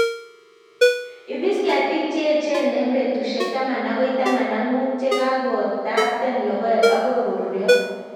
Ipisi ketik che echen eng' petushek taman agoi taman ak mut ye kakotopton logoek agoi koruryo